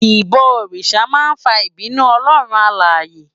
Ibò órisá má n fá ibinú Òlòrún Àláyé